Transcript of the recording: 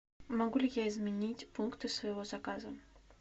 могу ли я изменить пункты своего заказа